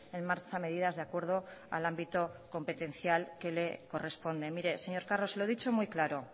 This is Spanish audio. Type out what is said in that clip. en marcha medidas de acuerdo al ámbito competencial que le corresponde mire señor carro se lo he dicho muy claro